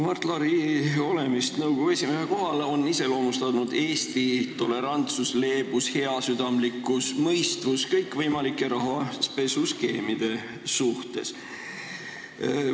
Mart Laari olemist nõukogu esimehe kohal on iseloomustanud Eesti tolerantsus, leebus, heasüdamlikkus ja mõistvus kõikvõimalike rahapesuskeemide suhtes.